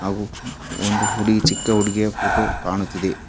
ಹಾಗು ಒಂದು ಹುಡುಗಿ ಚಿಕ್ಕ ಹುಡುಗಿಯ ಫೋಟೋ ಕಾಣುತ್ತಿದೆ.